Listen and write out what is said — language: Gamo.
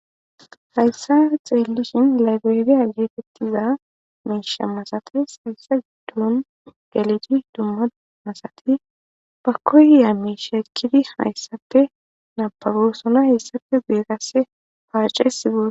Haysan xelishn librarya getetiza miisha masates, heysa gidon gelid dumma dumma Asat ba koyiya mishe ekid haysappe nababosona , hesappe guye paces..